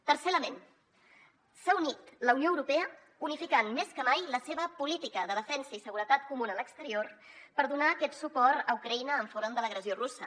tercer element s’ha unit la unió europea unificant més que mai la seva política de defensa i seguretat comuna a l’exterior per donar aquest suport a ucraïna enfront de l’agressió russa